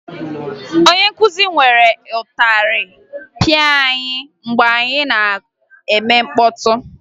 Onye nkụzi were ịtarị pịa anyị mgbe anyị nọ na-eme mkpọtụ